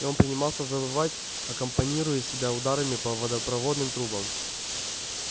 и он принимался завывать аккомпанируя себя ударами по водопроводным трубам